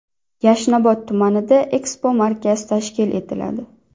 Yashnobod tumanida ekspomarkaz tashkil etiladi.